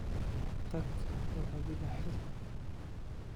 Tag oo adhiga xidh.